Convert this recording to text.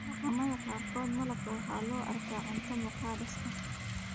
Dhaqamada qaarkood, malabka waxaa loo arkaa cunto muqadas ah.